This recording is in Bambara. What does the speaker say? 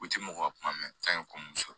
U ti mɔgɔw ka kuma mɛn k'an ye ko musɔ